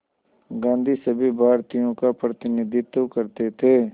गांधी सभी भारतीयों का प्रतिनिधित्व करते थे